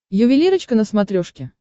ювелирочка на смотрешке